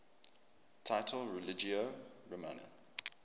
title religio romana